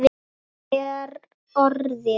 Það er orðið.